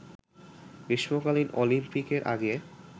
গ্রীষ্মকালীন অলিম্পিকের আগে